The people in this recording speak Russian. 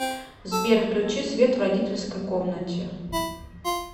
сбер включи свет в родительской комнате